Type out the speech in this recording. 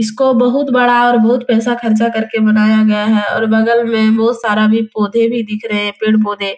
इसको बहुत बड़ा और बहुत पैसा खर्च करके बनाया गया है और बगल में बहुत सारा भी पौधे भी दिख रहे हैं पेड़-पौधे